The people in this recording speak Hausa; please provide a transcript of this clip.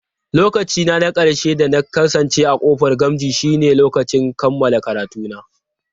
Lokaci na ƙarshe da na kasance a ƙofar Gamji shine lokacin kammala karatuna.